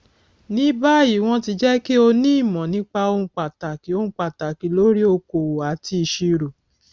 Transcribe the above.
ní báyìí wọn ti jẹ kí o ní ìmọ nípa ohun pàtàkì ohun pàtàkì lórí okoòwò àti ìṣirò